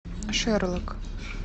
шерлок